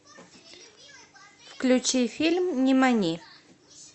включи фильм нимани